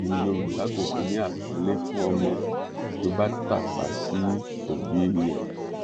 èyí ni yorùbá kò fi ní àpọnlé fún ọmọ tó bá tàpá sí òbí ẹ